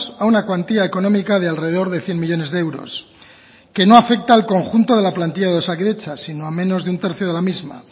a una cuantía económica de alrededor de cien millónes de euros que no afecta al conjunto de la plantilla de osakidetza sino a menos de un tercio de la misma